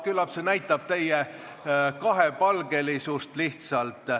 Küllap see näitab lihtsalt teie kahepalgelisust.